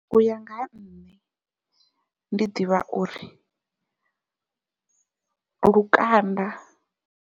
Uya nga ha nṋe ndi ḓivha uri lukanda.